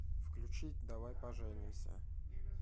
включить давай поженимся